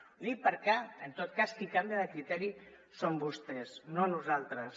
ho dic perquè en tot cas qui canvia de criteri són vostès no nosaltres